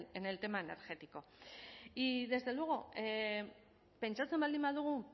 en el tema energético y desde luego pentsatzen baldin badugu